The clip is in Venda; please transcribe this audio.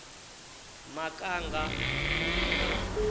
makanga